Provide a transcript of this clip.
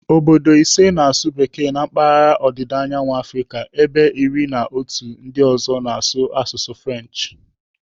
Obodo ise na-asụ bekee na mpaghara ọdịdaanyawu Afrịka ebe iri na otu ndị ọzọ na-asụ asụsụ French.